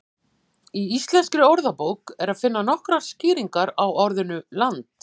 Í Íslenskri orðabók er að finna nokkrar skýringar á orðinu land.